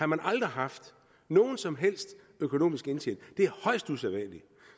man aldrig haft nogen som helst økonomisk indtjening det er højst usædvanligt